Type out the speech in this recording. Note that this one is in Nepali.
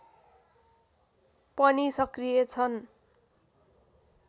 पनि सक्रिय छन्